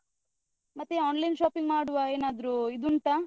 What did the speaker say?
ಮತ್ತೇ online shopping ಮಾಡುವ ಏನಾದ್ರು ಇದುಂಟಾ?